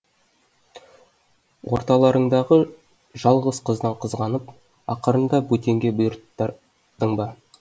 орталарыңдағы жалғыз қыздан қызғанып ақырында бөтенге бұйырттырдың ба